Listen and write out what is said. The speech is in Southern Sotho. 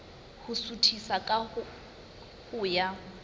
ho suthisa ka ho ya